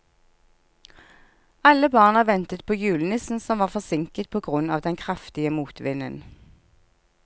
Alle barna ventet på julenissen, som var forsinket på grunn av den kraftige motvinden.